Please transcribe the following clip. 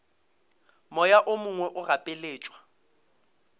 moya o mongwe o gapeletšwa